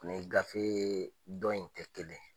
Ni gafe dɔn in tɛ kelen ye